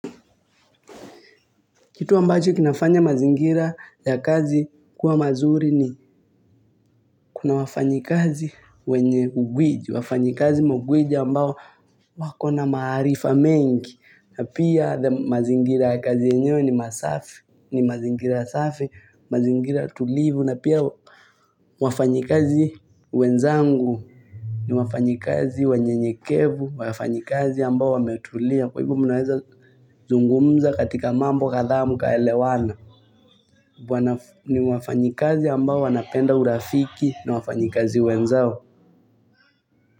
Kitu ambacho kinafanya mazingira ya kazi kuwa mazuri ni kuna wafanyikazi wenye ugwiji. Wafanyikazi magwiji ambao wako na maarifa mengi. Na pia mazingira ya kazi yenyewe ni masafi, ni mazingira safi, mazingira tulivu. Na pia wafanyikazi wenzangu ni wafanyikazi wanyenyekevu, wafanyikazi ambao wametulia. Kwa hivyo mi naweza zungumza katika mambo kadhaa mkaelewana. Ni wafanyikazi ambao wanapenda urafiki na wafanyikazi wenzao.